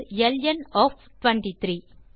lawn of 23